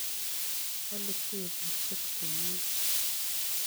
Walu teputyet komnye.